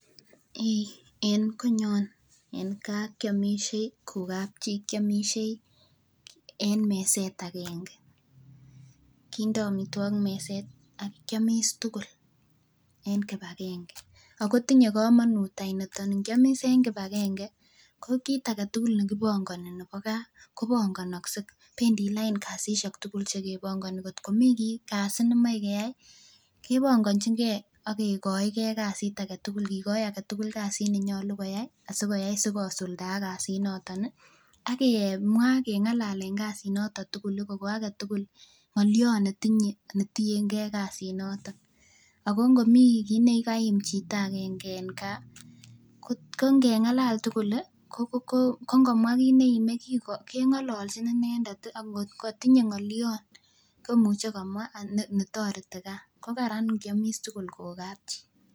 En konyon en kaa kiomishei ko kapchii kiomishei en meset akeng'e, kindo amitwokik meset ak kiomis tukul en kibakeng'e ago tinye komonut any niton, ng'iomis en kibakeng'e ko kiit aketukul nekibong'oni nebo kaa kobongonokse bendii lain kasisiek tukul chekebongoni ng'ot komii kasi nemie keyai kebong'onching'e ak kikoike kasit aketukul kikoi aketukul kasit nenyolu koyai asikoyai asikosuldaak kasinoton ak kemwaa keng'alalen kasinoton tukul kokoo aketukul ng'olion netieng'e kasinoton, ak ko ng'omii kii nekaim chito akeng'e en Kaa ko ng'eng'alal tukul ko kiit neome keng'ololchin inendet ak ng'ot kotinye ng'olion komuche komwa netoreti kaa, ko karan ing'iomis tukul kokapchi.